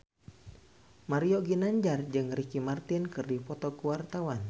Mario Ginanjar jeung Ricky Martin keur dipoto ku wartawan